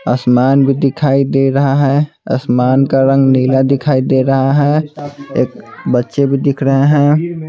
आसमान भी दिखाई दे रहा है आसमान का रंग नीला दिखाई दे रहा है एक बच्चे भी दिख रहे हैं।